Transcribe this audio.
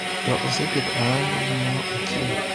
To oseketo ayanga gimoro achiel.